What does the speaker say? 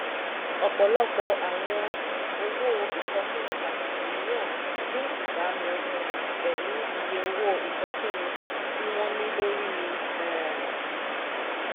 ọ̀pọ̀lọpọ̀ àwọn owó ìsọfúnni pàtàkì mìíràn ní ìbámu um pẹ̀lú iye owó ìsọfúnni tí wọ́n ní lórí um